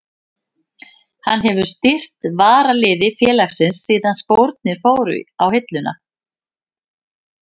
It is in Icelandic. Hann hefur stýrt varaliði félagsins síðan skórnir fóru á hilluna.